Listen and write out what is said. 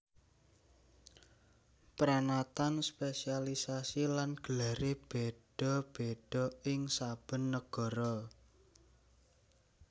Pranatan spesialiasi lan gelaré béda béda ing saben nagara